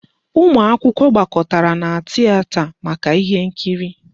Ụmụ akwụkwọ gbakọtara na tieta maka ihe nkiri.